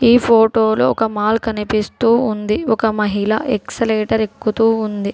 ఈ ఫోటోలు ఒక మాల్ కనిపిస్తూ ఉంది ఒక మహిళ ఎక్సలేటర్ ఎక్కుతూ ఉంది.